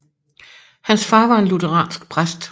Hans far var en lutheransk præst